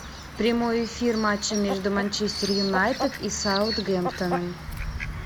прямой эфир матча между манчестер юнайтед и саутгемптоном